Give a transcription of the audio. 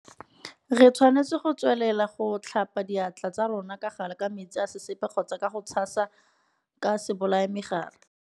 Re tshwanetse go tswelela go tlhapa diatla tsa rona ka gale ka metsi a sesepa kgotsa ka go a tshasa ka sebolayamegare.